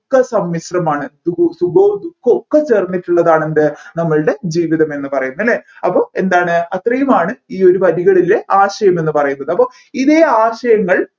ഒക്കെ സമ്മിശ്രമാണ് സുഖവും ദുഃഖവും ഒക്കെ ചേർന്നിട്ടുള്ളതാണ് എന്ത് നമ്മൾടെ ജീവിതം എന്ന് പറയുന്നത് അല്ലെ അപ്പോ എന്താണ് അത്രയുമാണ് ഈ ഒരു വരികളിലെ ആശയം എന്ന പറയുന്നത് അപ്പോ ഇതേ ആശയങ്ങൾ